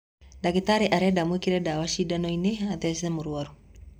Ndagĩtarĩ arenda wĩkĩre dawa sindanoinĩ athece mũrwaru